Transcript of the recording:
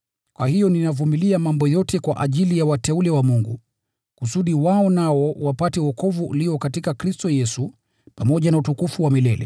Kwa hiyo ninavumilia mambo yote kwa ajili ya wateule wa Mungu, kusudi wao nao wapate wokovu ulio katika Kristo Yesu, pamoja na utukufu wa milele.